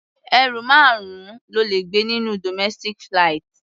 Ẹrù márùn-ún lo lè gbé nínú domestic flight.